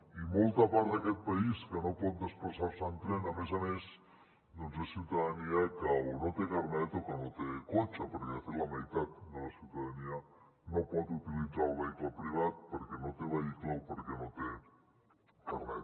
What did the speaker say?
i molta part d’aquest país que no pot desplaçar se en tren a més a més és ciutadania que o no té carnet o que no té cotxe perquè de fet la meitat de la ciutadania no pot utilitzar el vehicle privat perquè no té vehicle o perquè no té carnet